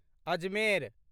Ajmer